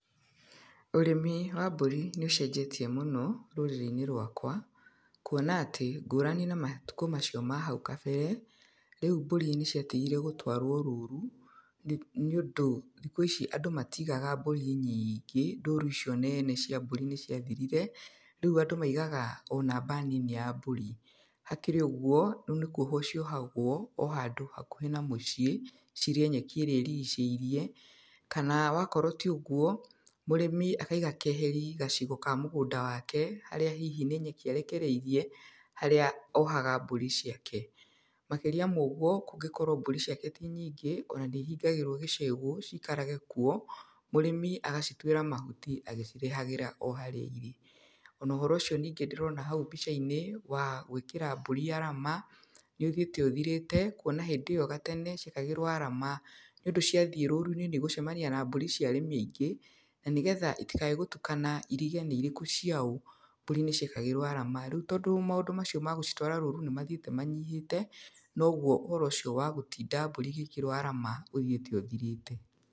Ũrĩmi wa mbũri nĩ ũcenjetie mũno rũrĩrĩ-inĩ rwakwa, kuona atĩ, ngũrani na matukũ macio ma hau kabere, rĩũ mbũri nĩciatigire gũtwarwo rũrũ, nĩ, nĩũndũ thikũ ici andũ matigaga mbũri nyingĩ, rũru icio nene cia mbũri nĩciathirire, rĩu andũ maigaga o namba nini ya mbũri. Hakĩrĩ ũguo rĩu nĩ kwohwo ciohagwo o handũ hakuhĩ na mũciĩ cirĩe nyeki ĩrĩa ĩrigicĩirie, kana wakorwo ti ũguo, mũrĩmi akaiga keheri gacigo ka mũgũnda wake harĩa hihi nĩ nyeki arekereirie harĩa ohaga mbũri ciake. Makĩrĩa mogwo kũngĩkorwo mbũri ciake ti nyingĩ, ona nĩ ihingagĩrwo gĩcegũ ciikarage kuo, mũrĩmi agacituĩra mahuti agĩcirehagĩra o harĩa irĩ. Ona ũhoro ũcio ningĩ ndĩrona hau mbica-inĩ wa gwĩkĩra mbũri arama nĩũthiĩte ũthirĩte kuona hĩndĩ ĩyo gatene ciekagĩrwo arama, nĩũndũ ciathiĩ rũru-inĩ nĩigũtukana na mbũri cia arĩmi aingĩ, na nĩgetha itikage gũtukana irige nĩ irĩkũ ciaũ, mbũri nĩciekagĩrwo arama. Rĩu tondũ maũndũ macio ma gũcitwara rũru nĩ mathiĩte manyihĩte, noguo ũhoro ũcio wa gũtinda mbũri igĩkĩrwo arama ũthiĩte ũthirĩte.